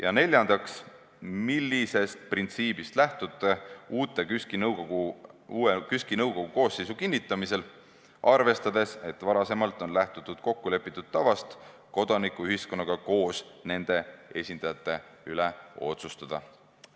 Ja neljandaks, millisest printsiibist lähtute uue KÜSK-i nõukogu koosseisu kinnitamisel, arvestades, et varasemalt on lähtutud kokkulepitud tavast kodanikuühiskonnaga koos nende esindajate üle otsustada?